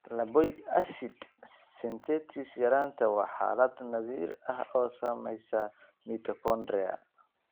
Lipoic acid synthetase yaraanta waa xaalad naadir ah oo saamaysa mitochondria.